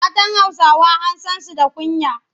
Matan Hausawa an san su da kunya.